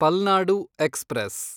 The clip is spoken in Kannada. ಪಲ್ನಾಡು ಎಕ್ಸ್‌ಪ್ರೆಸ್